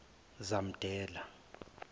zamdela